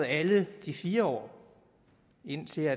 alle i de fire år indtil